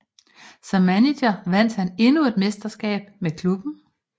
Som manager vandt han endnu et mesterskab med klubben